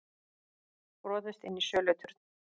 Brotist inn í söluturn